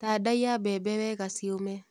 Tandaiya mbembe wega ciũme.